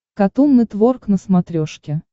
катун нетворк на смотрешке